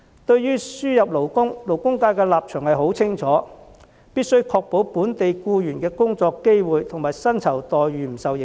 對於輸入勞工，勞工界的立場很清楚，是必須確保本地僱員的工作機會及薪酬待遇不受影響。